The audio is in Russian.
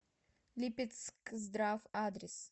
липецкздрав адрес